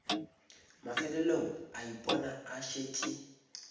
mafelelong a ipona a šetše